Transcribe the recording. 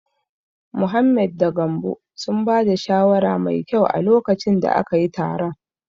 Mohammed da Gambo sun ba da shawara mai kyau a lokacin da akayi taron.